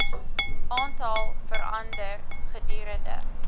aantal verander gedurende